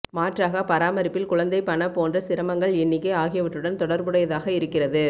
மாற்றாக பராமரிப்பில் குழந்தை பண போன்ற சிரமங்கள் எண்ணிக்கை ஆகியவற்றுடன் தொடர்புடையதாக இருக்கிறது